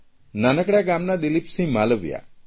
નાનકડા ગામના દિલીપસિંહ માલવિયા